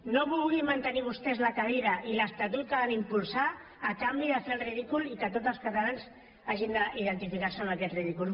no vulguin mantenir vostès la cadira i l’estatut que van impulsar a canvi de fer el ridícul i que tots els catalans hagin d’identificar se amb aquest ridícul